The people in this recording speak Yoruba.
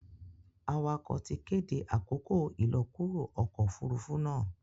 awakọ tí kéde àkókò ilọkuro ọkọ òfurufú náa.